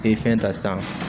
Ee fɛn ta san